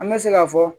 An bɛ se ka fɔ